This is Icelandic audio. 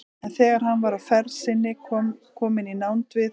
En þegar hann var á ferð sinni kominn í nánd við